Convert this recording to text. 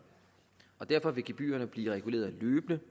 derfor vil gebyrerne blive reguleret løbende